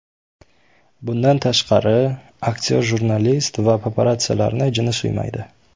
Bundan tashqari, aktyor jurnalist va paparatsiyalarni jini suymaydi.